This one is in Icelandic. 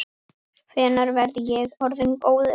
Hvenær verð ég orðinn góður?